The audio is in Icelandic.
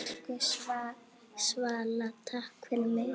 Elsku Svala, takk fyrir mig.